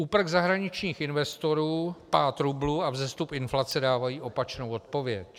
Úprk zahraničních investorů, pád rublu a vzestup inflace dávají opačnou odpověď.